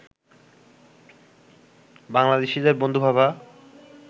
বাংলাদেশিদের বন্ধু ভাবা